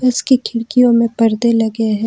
इसकी खिड़कियों में परदे लगे हैं।